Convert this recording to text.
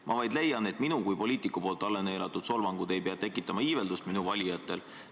Ma vaid leian, et minu kui poliitiku poolt alla neelatud solvangud ei pea tekitama iiveldust minu valijatel.